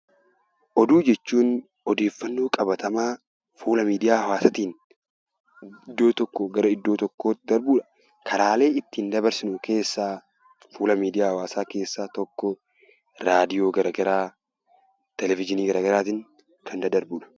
Oduu jechuun odeeffannoo qabatamaa fuula miidiyaa hawwaasaatiin iddoo tokkoo gara iddoo tokkootti darbudha. Karaalee ittiin dabarsinu keessaa fuula miidiyaa hawwaasaa keessaa tokko raadiyoo garaa garaa, televizhiinii garaa garaatiin kan daddarbudha.